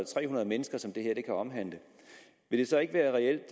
tre hundrede mennesker som det her kan omhandle vil det så ikke være reelt